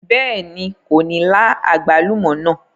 Bẹ́ẹ̀ni, kò ní lá àgbálùmọ́ náà.